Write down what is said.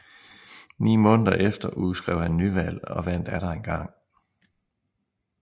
Ni måneder efter udskrev han nyvalg og vandt atter engang